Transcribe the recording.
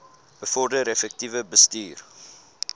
bevorder effektiewe bestuur